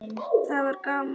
Það var gaman.